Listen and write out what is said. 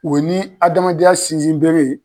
O ni adamadenya sinsin bere ye